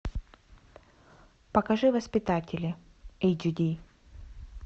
покажи воспитатели эйч ди